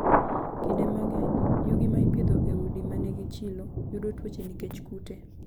Kinde mang'eny, yugi ma ipidho e udi ma nigi chilo, yudo tuoche nikech kute.